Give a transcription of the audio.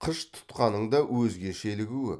қыш тұтқаның да өзгешелігі көп